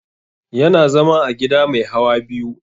Yana zama a gida mai hawa biyu